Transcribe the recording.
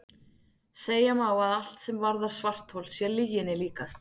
Segja má að allt sem varðar svarthol sé lyginni líkast.